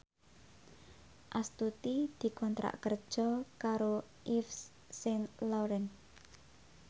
Astuti dikontrak kerja karo Yves Saint Laurent